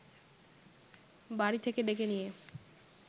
বাড়ি থেকে ডেকে নিয়ে